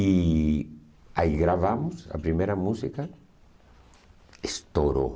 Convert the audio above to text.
E aí gravamos a primeira música, estourou.